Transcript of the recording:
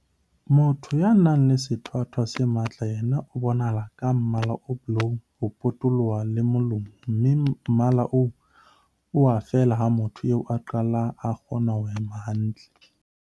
Motho ya nang le sethwathwa se matla yena o bonahala ka mmala o bolou ho potoloha le molomo mme mmala oo o a fela ha motho eo a qala a kgona ho hema hantle.